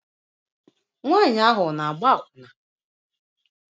Nwanyị ahụ ọ na-agba akwụna?